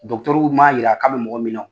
dɔktɛru m'a jira k'a bɛ mɔgɔ min na o